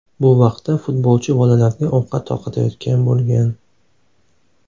Bu vaqtda futbolchi bolalarga ovqat tarqatayotgan bo‘lgan.